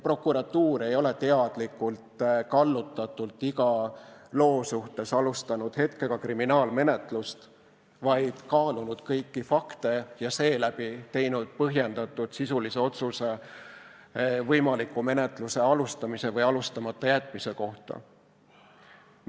Prokuratuur ei ole teadlikult kallutatult iga loo suhtes alustanud hetkega kriminaalmenetlust, vaid kaalunud kõiki fakte ja seeläbi teinud põhjendatult sisulise otsuse võimaliku menetluse alustamise või alustamata jätmise kohta.